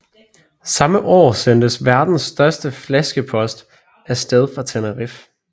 Samme år sendtes verdens største flaskepost af sted fra Tenerife